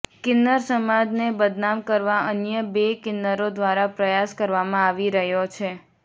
કિન્નર સમાજ ને બદનામ કરવા અન્ય બે કિન્નરો દ્વારા પ્રયાસ કરવામાં આવી રહયો છે